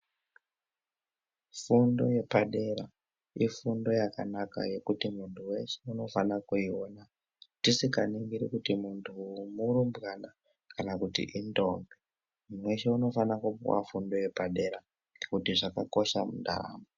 Fundo yepadera ifundo yakanaka yekuti muntu weshe unofana kuiona tisikaningiri kuti muntu uyu murumbwana kana kuti indombi. Muntu weshe unofane kupuwa fundo yepadera nekuti zvakakosha mundaramo.